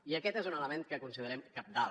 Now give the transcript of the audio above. i aquest és un element que considerem cabdal